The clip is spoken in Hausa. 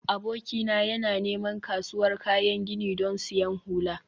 abokina yana neman kasuwar kayan gini don siyan hula